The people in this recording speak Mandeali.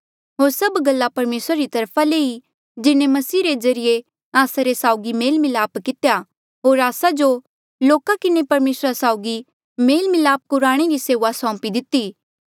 होर सब गल्ला परमेसरा री तरफा ले ई जिन्हें मसीह रे ज्रीए आस्सा रे साउगी मेल मिलाप कितेया होर आस्सा जो लोका किन्हें परमेसर साउगी मेल मिलापा कुराणे री सेऊआ सौंपी दिती